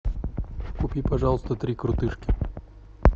купи пожалуйста три крутышки